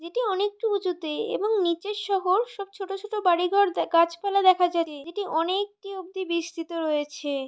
যেটি অনেকটু উঁচুতে এবং নিচের শহর সব ছোটো ছোটো বাড়ি ঘর দে গাছ পালা দেখা যাচ্ছে যেটি অনেএ-কটি অবধি বিস্তৃত রয়েছে।